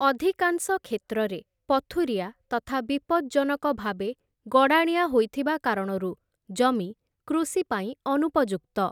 ଅଧିକାଂଶ କ୍ଷେତ୍ରରେ ପଥୁରିଆ ତଥା ବିପଜ୍ଜନକଭାବେ ଗଡ଼ାଣିଆ ହୋଇଥିବା କାରଣରୁ ଜମି କୃଷି ପାଇଁ ଅନୁପଯୁକ୍ତ ।